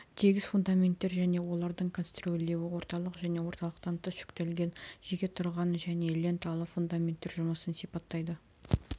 тегіс фундаменттер және олардың конструирлеуі орталық және орталықтан тыс жүктелген жеке тұрған және ленталы фундаменттер жұмысын сипаттайды